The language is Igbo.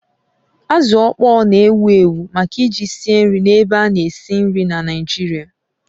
Azụ ọkpọr na-ewu ewu maka eji sie nri na ébé ana esi nri na Naịjirịa